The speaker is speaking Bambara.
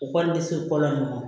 Okɔlidenso fɔlɔ ma